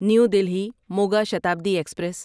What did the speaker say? new Delhi Moga Shatabdi express